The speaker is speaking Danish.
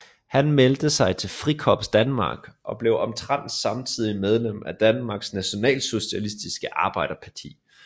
Han meldte sig til Frikorps Danmark og blev omtrent samtidig medlem af Danmarks Nationalsocialistiske Arbejderparti